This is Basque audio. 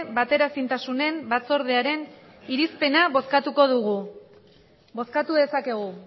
bateraezintasunen batzordearen irizpena bozkatu dugu bozkatu dezakegu